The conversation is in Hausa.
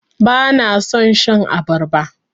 Bana son shan abarba.